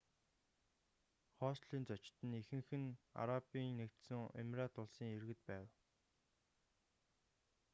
хостелийн зочид ихэнх нь арабын нэгдсэн эмират улсын иргэд байв